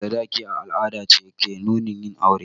Biyan sadaki a al'adance ke nunin yin aure